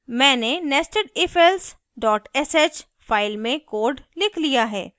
मैंने nestedifelse sh file में code लिख लिया है